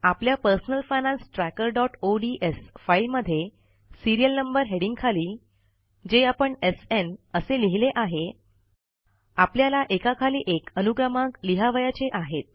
आपल्या personal finance trackerओडीएस फाईलमध्ये सीरियल नंबर हेडिंगखाली जे आपण एसएन असे लिहीले आहे आपल्याला एकाखाली एक अनुक्रमांक लिहावयाचे आहेत